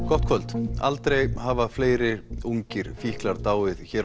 gott kvöld aldrei hafa fleiri ungir fíklar dáið hér á